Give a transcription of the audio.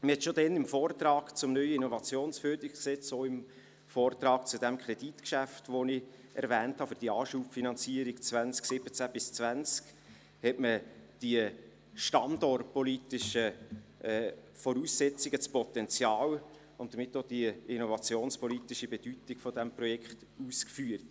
Bereits damals, im Vortrag zum neuen IFG sowie im Vortrag zum erwähnten Kreditgeschäft für die Anschubfinanzierung 2017–2020, hatte man die standortpolitischen Voraussetzungen, das Potenzial und somit auch die innovationspolitische Bedeutung dieses Projekts ausgeführt.